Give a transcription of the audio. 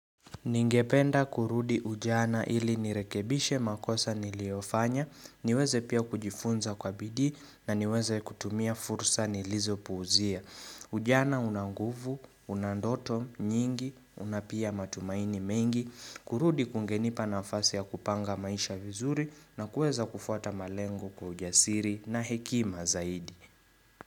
Ningependa kurudi ujana ili nirekebishe makosa niliyofanya, niweze pia kujifunza kwa bidii na niweze kutumia fursa nilizopuuzia. Ujana una nguvu, una ndoto nyingi, una pia matumaini mengi, kurudi kungenipa nafasi ya kupanga maisha vizuri na kueza kufuata malengo kwa ujasiri na hekima zaidi.